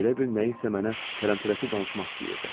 Elə bil nəyinsə mənə tərəm-tərəsi danışmaq istəyirdi.